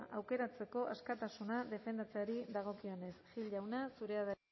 aukeratzeko askatasuna defendatzeari dagokionez gil jauna zurea da